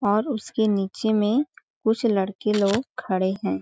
और उसके नीचे में कुछ लड़के लोग खड़े हैं।